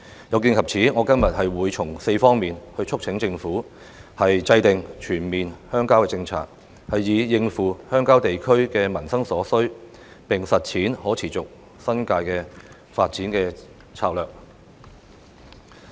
有見及此，我今天會從4方面促請政府制訂全面鄉郊政策，以應付鄉郊地區的民生所需，並實踐可持續的新界發展策略。